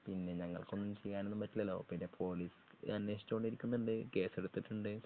പിന്നെ ഞങ്ങൾക്ക് ഒന്നും ചെയ്യാനൊന്നും പറ്റില്ലല്ലോ പിന്നെ പോലീസ് അന്വേഷിചോണ്ടിരിക്കുന്നുണ്ട്. കേസെടുത്തിട്ടുണ്ട്.